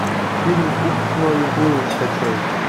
фильм упс ной уплыл скачай